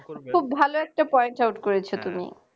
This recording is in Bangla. খুব ভালো একটা point out করেছো তুমি